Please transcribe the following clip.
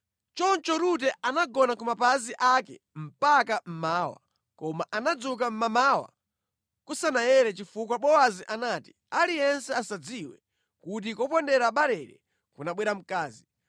Choncho Rute anagona ku mapazi ake mpaka mmawa, koma anadzuka mmamawa kusanayere chifukwa Bowazi anati, “Aliyense asadziwe kuti kopondera barele kunabwera mkazi.”